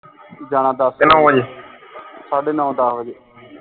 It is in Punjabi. ਜਾਣਾ ਦੱਸ ਸਾਢੇ ਨੋਂ ਦੱਸ ਵਜੇ